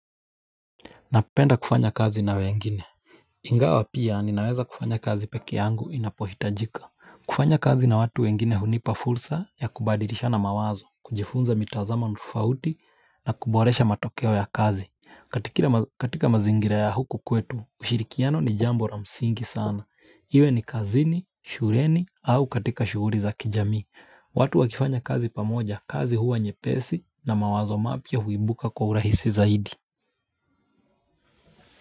Napenda kufanya kazi na wengine. Ingawa pia ninaweza kufanya kazi peke yangu inapohitajika. Kufanya kazi na watu wengine hunipa fursa ya kubadilisha na mawazo, kujifunza mitazamo tofauti na kuboresha matokeo ya kazi. Katika mazingira ya huku kwetu, ushirikiano ni jambo la msingi sana. Iwe ni kazini, shuleni au katika shughuli za kijamii. Watu wakifanya kazi pamoja, kazi huwa nyepesi na mawazo mapia huibuka kwa urahisi zaidi.